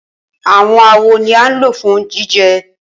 Awọn awo ni a lo fun jijẹ